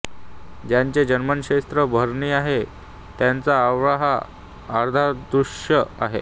ज्यांचे जन्मनक्षत्र भरणी आहे त्यांचा आवळा हा आराध्यवृक्ष आहे